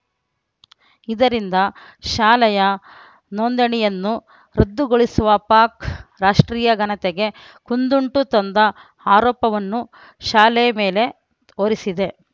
ಇದರಿಂದ ಶಾಲೆಯ ನೋಂದಣಿಯನ್ನು ರದ್ದುಗೊಳಿಸಿರುವ ಪಾಕ್‌ ರಾಷ್ಟ್ರೀಯ ಘನತೆಗೆ ಕುಂದುಂಟು ತಂದ ಆರೋಪವನ್ನು ಶಾಲೆ ಮೇಲೆ ಹೊರಿಸಿದೆ